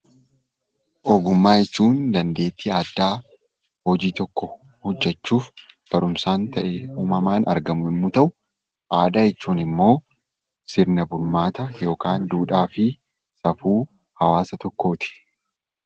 Ogummaa jechuun dandeettii addaa hojii tokko hojjechuuf barumsaan ta'e uumamaan argamu yommuu ta'u, aadaa jechuun ammoo sirna bulmaata yookaan duudhaa fi safuu hawaasa tokkooti.